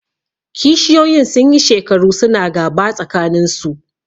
Kishiyoyin sun yi shekaru su na gaba tsakaninsu